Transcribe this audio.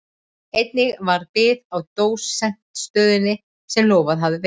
Einnig varð bið á dósentsstöðunni sem lofað hafði verið.